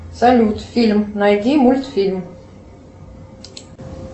салют фильм найди мультфильм